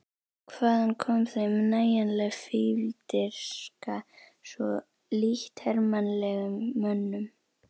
Hvaðan kom þeim nægjanleg fífldirfska, svo lítt hermannlegum mönnum?